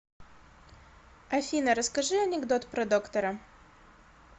афина расскажи анекдот про доктора